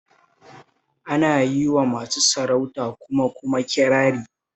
Ana yi wa masu sarauta kuma kuma kirari